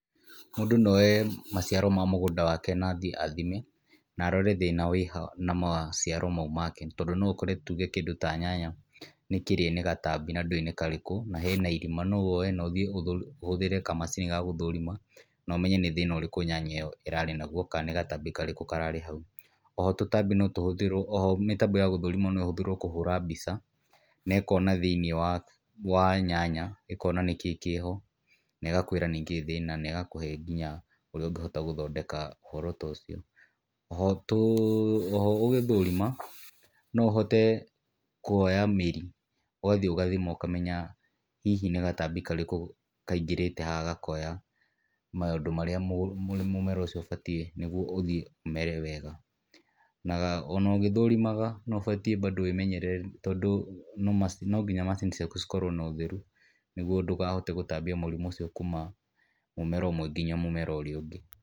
Mũndũ no oye, maciaro ma mũgũnda wake na athie na athime, na arore thĩna wĩha na maciaro mau make tondũ no ũkore tuge kĩndũ ta nyanya, nĩkĩrĩe ni gatambi na ndũĩ nĩ karĩkũ na hena irima no woye na ũthie ũhũthĩre kamacini ga gũthũrima, na ũmenye nĩ thĩna ũrĩkũ nyanya ĩo ĩrarĩ naguo kana nĩ gatambi karĩkũ kararĩ hau. Oho, tũtambi no tũhũthĩrwo oho mĩtambo ya gũthũrima no ĩhotherwo kũhũra mbica na ĩkona thĩinĩ wa wa nyanya ĩkona nĩ kĩĩ kĩho na ĩgakũĩra nĩ kĩĩ thĩna na ĩgakũhe nginya ũrĩa ũngĩhota gũthondeka ũhoro ta ũcio. Oho, gũgĩthũrima no ũhote kwoya mĩri ũgathie ũgathima ũkamenya hihi nĩ gatambi karĩkũ kaingĩrĩte haha gakoya maũndũ marĩa mũmera ũcio ũbatie nĩguo ũthie ũmere wega. O na ũgĩthũrimaga no ũbatie bandũ wĩmenyerere tondũ no nginya macini ciaku cikorwo na ũtheru nĩguo ndũkahote gũtambia mũrimũ ũcio kũma mũmera ũmwe nginya mũmera ũria ũngĩ.